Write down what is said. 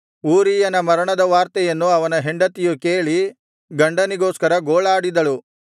ಊರೀಯನ ಮರಣದ ವಾರ್ತೆಯನ್ನು ಅವನ ಹೆಂಡತಿಯು ಕೇಳಿ ಗಂಡನಿಗೋಸ್ಕರ ಗೋಳಾಡಿದಳು